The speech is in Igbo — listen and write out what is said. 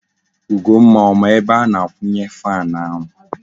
Ugomma ọ ma ebe a na-akwunye fan ahu?